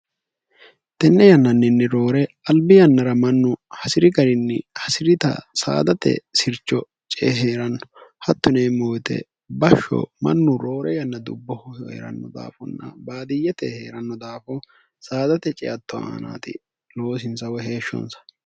tenne yannanninni roore albi yannara mannu hasi'ri garinni hasi'rita saadate sircho cee hee'ranno hattoneemmo yite bashsho mannu roore yanna dubboho hhe'ranno daafunna baadiyye te hee'ranno daafo saadate ceatto aanaati loosinsa woyi heeshshonsa